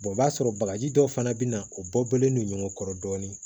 o b'a sɔrɔ bagaji dɔ fana bɛ na o bɔ bɔlen don ɲɔgɔn kɔrɔ dɔɔnin